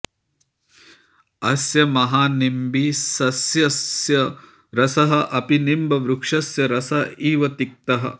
अस्य महानिम्बिसस्यस्य रसः अपि निम्बवृक्षस्य रसः इव तिक्तः